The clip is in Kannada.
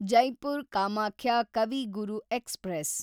ಜೈಪುರ್ ಕಾಮಾಖ್ಯ ಕವಿ ಗುರು ಎಕ್ಸ್‌ಪ್ರೆಸ್